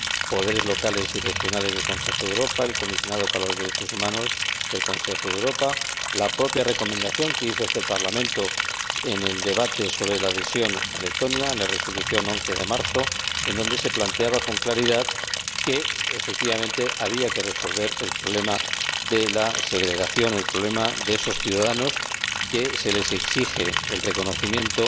Poderes Locales y Regionales del Consejo de Europa, el Comisionado para los Derechos Humanos del Consejo de Europa, la propia recomendación que hizo este Parlamento en el debate sobre la adhesión de Letonia, la Resolución de 11 de marzo, en donde se planteaba con claridad que, efectivamente, había que resolver el problema de la segregación, el problema de esos ciudadanos, a los que se les exige el reconocimiento